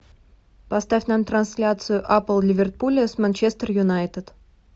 поставь нам трансляцию апл ливерпуля с манчестер юнайтед